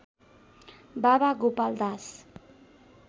बाबा गोपाल दास